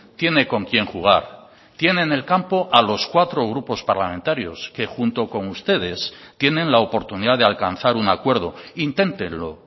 tiene con quién jugar tiene en el campo a los cuatro grupos parlamentarios que junto con ustedes tienen la oportunidad de alcanzar un acuerdo inténtelo